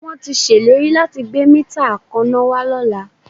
Wọ́n tí ṣèlérí láti gbé mítà akaná wá lọ́la